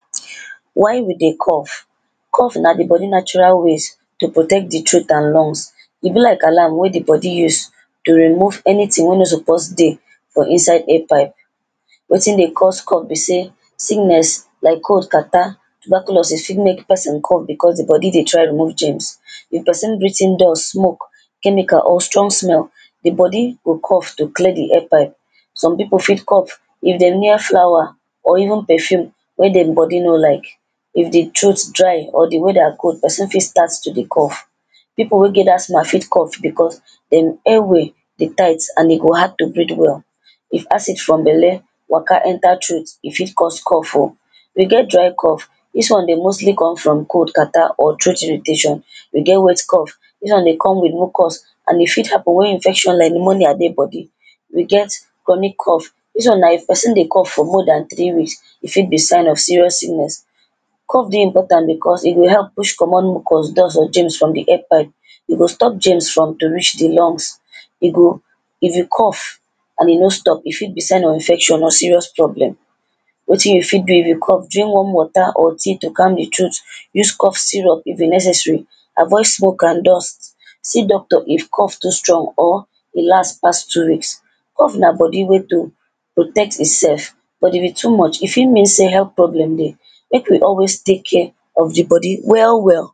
Why we dey cough? Cough na di body natural ways to protect di throat and lungs E be like alarm wey di body use to remove anything wey no suppose dey for inside airpipe Wetin dey cause cough be sey, sickness like cough, catarrh tuberculosis fit make person cough becos di body dey try remove germs. If person breathe in dust, smoke chemical or strong smell, di body go cough to clear di air pipe Some pipo fit cough if dem near flower or even perfume wey dem body no like If di throat dry or weather cold, person fit start to dey cough Pipo fit get asthma fit cough becos dem airway too tight and e go hard to breathe well If acid for belle waka enter throat, e fit cause cough oh We get dry cough, dis one dey mostly come from cold, cartarrh or throat irritation We get wet cough dis one dey come with mucus and e fit happen wen infection like pneumonia dey body We get chronic cough. Dis one na if person dey cough for more than three weeks E fit be sign of serious sickness. Cough dey important becos e dey help push comot mucus, dust or germ from di airpipe E go stop germs from to reach di lungs. E go, if you cough and e no stop, e fit be sign of infection or serious problem wetin you fit do if you cough, drink warm water or tea to calm di throat. Use cough syrub if e necessary Avoid smoke and dust. See doctor if cough too strong or e last pass two weeks Cough na body way to protect itself, but if e too much e fit mean sey health problem dey Make we always take care of di body well well